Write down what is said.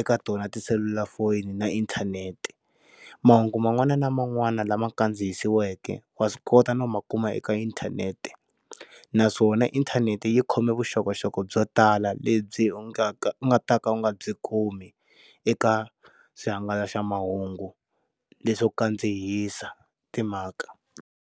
eka tona tiselulafoni na inthanete mahungu man'wani na man'wani lama kandzihisiweke wa swi kota no ma kuma eka inthanete naswona inthanete yi khome vuxokoxoko byo tala lebyi u nga ka u nga ta ka u nga byi kumi eka swihangalasamahungu leswi kandzihisa timhaka.